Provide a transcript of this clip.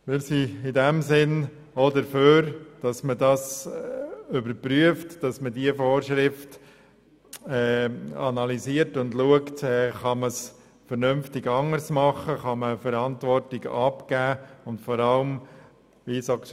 In diesem Sinn sind wir für eine Überprüfung und Analyse dieser Vorschrift hinsichtlich einer vernünftigen anderen Vorgehensweise und der Abgabe von Verantwortung.